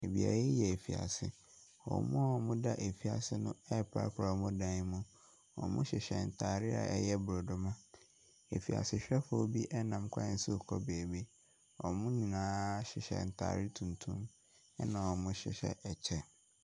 Beaeɛ yi yɛ afiase. Wɔn a wɔda afiase noreprapra wɔn dan mu. Wɔhyehyɛ ntaare a ɛyɛ borɔdoma. Afiasehwefoɔ bi nam kwan so rekɔ baabi. Wɔn nyinaa hyehyɛ ntaare tuntum, na wɔhyehyɛ kyɛ.